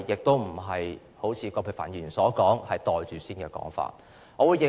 對於葛珮帆議員所謂"袋住先"的說法，我並不認同。